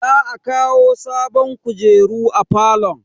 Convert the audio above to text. Za a kawo sabon kujeru a falon.